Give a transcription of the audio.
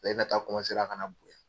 taa ka na bun.